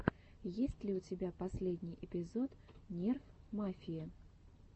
есть ли у тебя последний эпизод нерф мафии